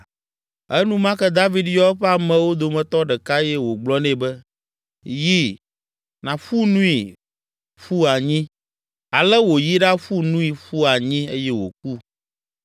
Enumake David yɔ eƒe amewo dometɔ ɖeka eye wògblɔ nɛ be, “Yi, nàƒu nui ƒu anyi!” Ale wòyi ɖaƒu nui ƒu anyi eye wòku.